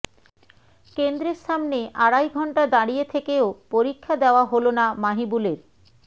কেন্দ্রের সামনে আড়াই ঘণ্টা দাঁড়িয়ে থেকেও পরীক্ষা দেওয়া হলো না মাহিবুলের